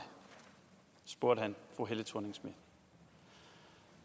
spurgte han fru helle thorning schmidt